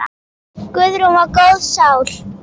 Guðrún var góð sál.